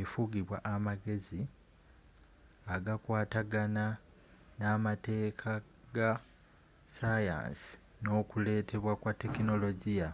efugibwa amagezi agakwatagana n’eamateek aga sayansi n’okuletebwa kwa tekinologiya